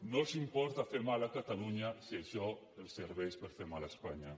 no els importa fer mal a catalunya si ai·xò els serveix per fer mal a espanya